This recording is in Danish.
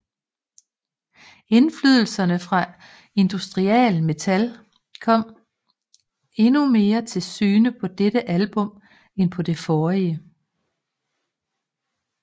Indflydelserne fra industrial metal kom endnu mere til syne på dette album end på det forrige